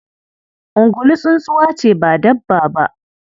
Ungulu tsuntsuwa ce ba dabba ba.